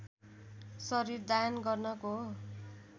शरीर दान गर्नको